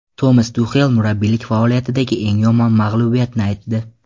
Tomas Tuxel murabbiylik faoliyatidagi eng yomon mag‘lubiyatni aytdi.